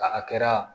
A a kɛra